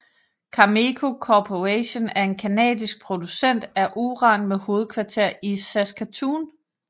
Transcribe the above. Cameco Corporation er en canadisk producent af uran med hovedkvarter i Saskatoon